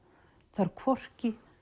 þarf hvorki